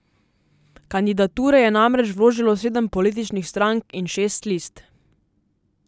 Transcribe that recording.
Kandidature je namreč vložilo sedem političnih strank in šest list.